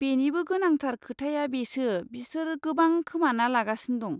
बेनिबो गोनांथार खोथाया बेसो बिसोर गोबां खोमाना लागासिनो दं।